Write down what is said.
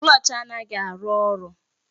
Klọch anaghị arụ ọrụ